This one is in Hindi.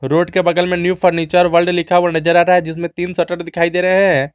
रोड के बगल में न्यू फर्नीचर वर्ल्ड लिखा हुआ नजर आ रहा है जिसमें तीन शटर दिखाई दे रहे हैं।